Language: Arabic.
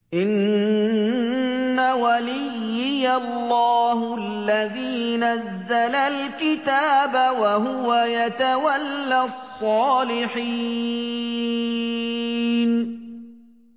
إِنَّ وَلِيِّيَ اللَّهُ الَّذِي نَزَّلَ الْكِتَابَ ۖ وَهُوَ يَتَوَلَّى الصَّالِحِينَ